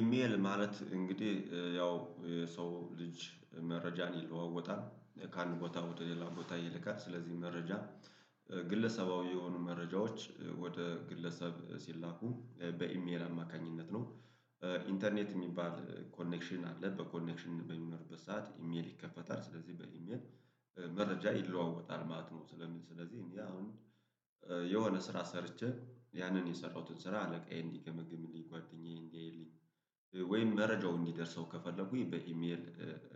ኢሜል ማለት እንግዲህ ያው የሰው ልጅ መረጃን ይለዋወጣል ከአንድ ቦታ ወደ ሌላ ቦታ ይልካል ስለዚህ መረጃ ግለሰባዊ የሆኑ መረጃዎች ወደ ግለሰብ ሲላኩ በኢሜል አማካኝነት ነው። ኢንተርኔት የሚባል ኮኔክሽን አለ በኮኔክሽን በሚኖርበት ሰዓት ኢሜል ይከፈታል ስለዚህ በኢሜል መረጃ ይለዋወጣል ማለት ነው። ስለዚህ እኔ አሁን የሆነ ስራ ሰርቼ ያንን የሰራሁትን ስራ አለቃዬ እንዲገመግምልኝ ጓደኛዬ እንዲያይልኝ ወይም መረጃው እንዲደርሰው ከፈለኩኝ በኢሜል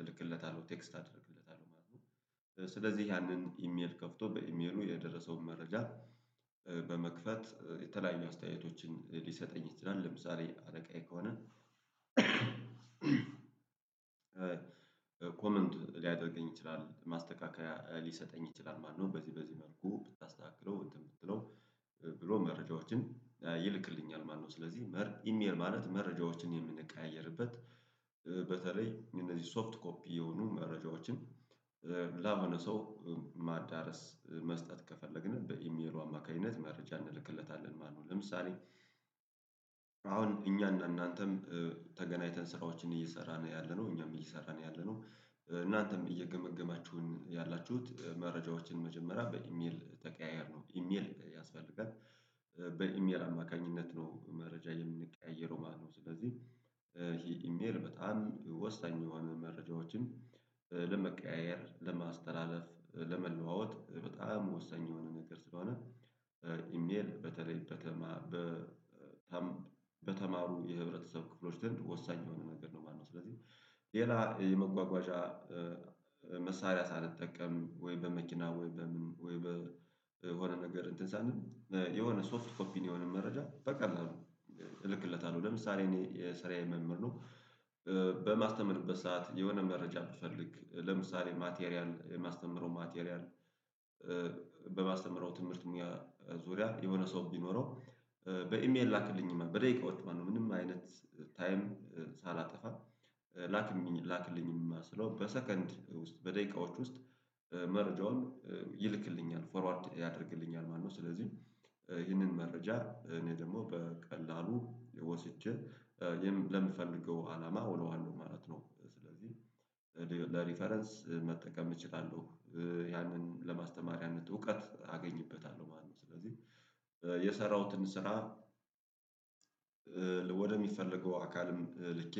እልክለታለሁ ቴክስት አደርግለታለሁ ማለት ነው። ስለዚህ ያንን ኢሜል ከፍቶ በኢሜሉ የደረሰውን መረጃ በመክፈት የተለያዩ አስተያየቶችን ሊሰጠኝ ይችላል። ለምሳሌ አለቃዬ ከሆነ ኮመንት ሊያደርገኝ ይችላል ማስተካከያ ሊሰጠኝ ይችላል ማለት ነው። በዚህ በዚህ መልኩ ብታስተካክለው እንትን ብትለው ብሎ መረጃዎችን ይልክልኛል ማለት ነው። ስለዚህ ኢሜል ማለት መረጃዎችን የምንቀያየርበት በተለይ እነዚህ ሶፍት ኮፒ የሆኑ መረጃዎችን ለሆነ ሰው ማዳረስ መስጠት ከፈለግን በኢሜሉ አማካኝነት መረጃ እንልክለታለን ማለት ነው። ለምሳሌ አሁን እኛ እናንተም ተገናኝተን ስራዎችን እየሰራን ያለነው እኛም እየሰራን ያለነው እናንተም እየገመገማችሁን ያላችሁት መረጃዎችን መጀመሪያ በኢሜል ተቀያየረን ነው። ኢሜል ያስፈልጋል በኢሜል አማካኝነት ነው መረጃ የምንቀያይረው ማለት ነው። ስለዚህ ይሄ ኢሜል በጣም ወሳኝ የሆነ መረጃዎችን ለመቀያየር ለማስተላለፍ ለመለዋወጥ በጣም ወሳኝ የሆነ ነገር ስለሆነ ኢሜል በተለይ ከተማ በተማሩ የህብረተሰብ ክፍሎች ዘንድ ወሳኝ የሆነ ነገር ነው ማለት ነው። ስለዚህ ሌላ የመጓጓዣ መሳሪያ ሳንጠቀም ወይም በመኪና ወይ በሆነ ነገር እንትን ሳንል የሆነ ሶፍት ኮፒ የሆነ መረጃ በቀላሉ እልክለታለሁ ለምሳሌ እኔ ሰራዬ መምህር ነው። በማስተምርበት ሰዓት የሆነ መረጃ ብፈልግ ለምሳሌ ማቴሪያል የማስተምረው ማቴሪያል በማስተምረው ትምህርት ሙያ ዙሪያ የሆነ ሰው ቢኖረው በኢሜል ላክልኝማ በደቂቃዎች ማለት ነው። ምንም አይነት ታይም ሳላጠፋ ላክልኝ ላክልኝማ ስለው በሰከንድ ውስጥ በደቂቃዎች ውስጥ መረጃውን ይልክልኛል ፎርዋርድ ያደርግልኛል ማለት ነው። ስለዚህ ይህንን መረጃ እኔ ደግሞ በቀላሉ ወስጄ ለምፈልገው አላማ አውለዋለው ማለት ነው። ስለዚህ ለሪፈረንስ መጠቀም እችላለሁ ያንን ለማስተማር ያንን እውቀት አገኝበታለሁ ማለት ነው። ስለዚህ የሰራሁትን ስራ ወደሚፈለገው አካልም ልኬ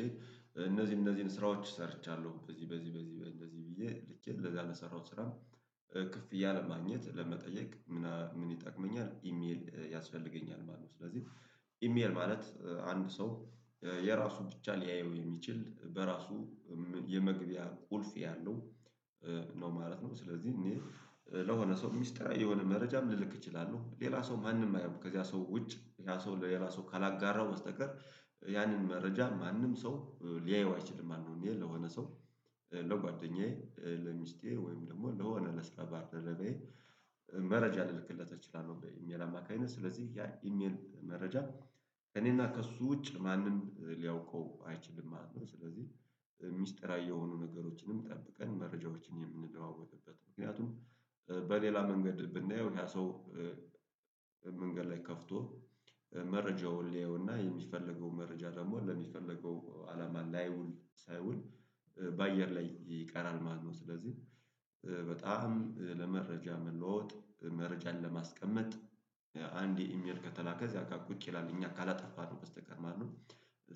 እነዚህ እነዚህን ስራዎች ሰርቻለሁ በዚህ በዚህ በዚህ በእንደዚህ ብዬ ልኬ ለዛ ለሰራሁት ስራ ክፍያ ለማግኘት ለመጠየቅ ምን ይጠቅመኛል ኢሜል ያስፈልገኛል ማለት ነው። ስለዚህ ኢሜል ማለት አንድ ሰው የራሱ ብቻ ሊያየው የሚችል በራሱ የመግቢያ ቁልፍ ያለው ነው ማለት ነው። ስለዚህ እኔ ለሆነ ሰው ሚስጥራዊ የሆነ መረጃም ልልክ እችላለሁ ሌላ ሰው ማንም አያየውም ከዚያ ሰው ውጭ ያ ሰው ለሌላ ሰው ካላጋራው በስተቀር ያንን መረጃ ማንም ሰው ሊያየው አይችልም። አንዱ ኢሜል ለሆነ ሰው ለጓደኛዬ ለሚስቴ ወይም ደግሞ ለሆነ ለስራ ባልደረባዬ መረጃ ልልክለት እችላለሁ በኢሜል አማካኝነት ስለዚህ ያ ኢሜል መረጃ እኔና ከእሱ ውጭ ማንም ሊያውቀው አይችልም ማለት ነው። ስለዚህ ሚስጥራዊ የሆኑ ነገሮችንም ጠብቀን መረጃዎችን የምንለዋወጥበት ምክንያቱም በሌላ መንገድ ብናየው ያ ሰው መንገድ ላይ ከፍቶ መረጃውን ሊያውና የሚፈለገው መረጃ ደግሞ ለሚፈለገው አላማ ላይውል ሳይውል በአየር ላይ ይቀራል ማለት ነው። ስለዚህ በጣም ለመረጃ መለዋወጥ መረጃን ለማስቀመጥ አንድ ኢሜል ከተላከ እዛጋ ቁጭ ይላል እኛ ካላጠፋነው በስተቀር ማነው?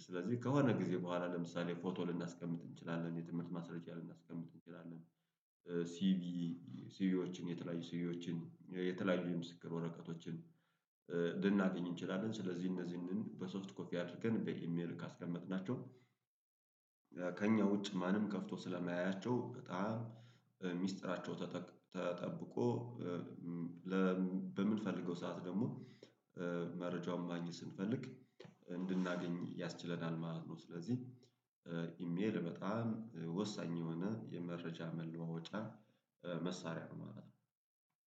ስለዚህ ከሆነ ጊዜ በኋላ ለምሳሌ ፎቶ ልናስቀምጥ እንችላለን የትምህርት ማስረጃ ልናስቀምጥ እንችላለን። ሲቪ ሲቪዎችን የተለያዩ ሲቪዎችን የተለያዩ የምስክር ወረቀቶችን ልናገኝ እንችላለን። ስለዚህ እነዚህን በሶስት ኮፒ አድርገን በኢሜል ካስቀመጥናቸው ከእኛ ውጭ ማንም ከፍቶ ስለማያያቸው በጣም ሚስጥራቸው ተጠብቆ በምንፈልገው ሰዓት ደግሞ መረጃውን ማግኘት ስንፈልግ እንድናገኝ ያስችለናል ማለት ነው። ስለዚህ ኢሜል በጣም ወሳኝ የሆነ የመረጃ መለዋወጫ መሳሪያ ነው ማለት ነው።